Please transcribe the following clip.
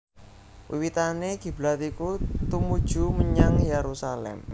Wiwitané kiblat iku tumuju menyang Yerusalem